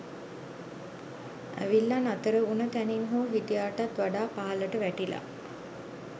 ඇවිල්ලා නතර උන තැනින් හෝ හිටියාටත් වඩා පහලට වැටිලා